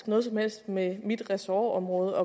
noget som helst med mit ressortområde